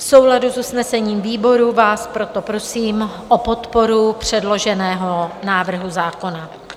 V souladu s usnesením výboru vás proto prosím o podporu předloženého návrhu zákona.